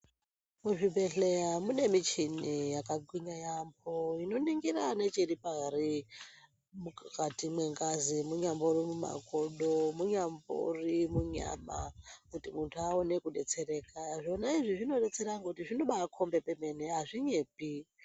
Muzvibhedhlera mune michini yakagwinya yambo inoningira nechiripari mukati mengazi munyambori mumakodo , munyambori munyama kuti muntu awone kudetsereka zvona izvi zvinodetsera kuti zvinobakombe pemene azvinyepi.